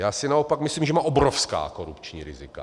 Já si naopak myslím, že má obrovská korupční rizika.